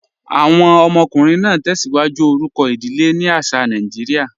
Awọn ọmọkùnrin naa tẹ́síwájú orúkọ idílé ni àṣà Nàìjíríà.